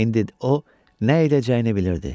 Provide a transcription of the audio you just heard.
İndi o nə edəcəyini bilirdi.